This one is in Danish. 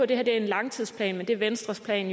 det her er en langtidsplan men det er venstres plan